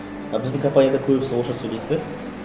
а біздің компанияда көбісі орысша сөйлейді де